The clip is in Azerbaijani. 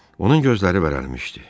Onun gözləri vərələmişdi.